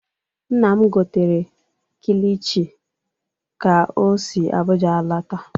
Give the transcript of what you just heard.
Nna m gotere kilichi ka o si Abụja alọta.